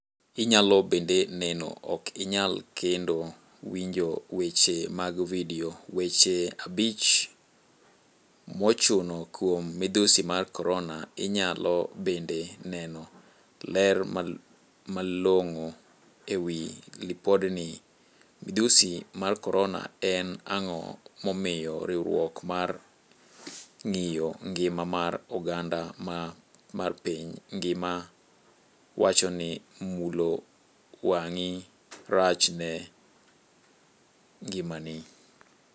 Inyalo bende neno, ok inyal kendo winjo weche mag video, weche abich mochuno kuom midhusi mar korona, inyalo bende neno: Ler malong'o ewi lipodni. Midhusi mar korona, En ang'o momiyo riwruok mar ng'iyo ngima mar oganda mar piny ngima wachoni mulo wang'i rach ne ngimani?